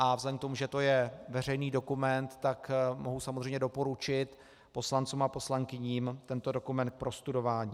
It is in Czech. A vzhledem k tomu, že je to veřejný dokument, tak mohu samozřejmě doporučit poslancům a poslankyním tento dokument k prostudování.